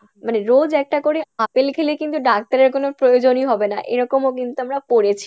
মানে রোজ একটা করে আপেল খেলে কিন্তু ডাক্তারের কোনো প্রয়োজনই হবে না এরকমও কিন্তু আমরা পড়েছি।